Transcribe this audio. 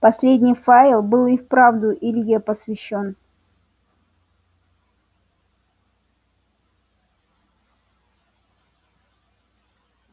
последний файл был и вправду илье посвящён